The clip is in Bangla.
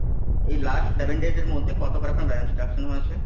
এই Last Seven Days এর মধ্যে কতবার আপনার Band deduction হয়েছে।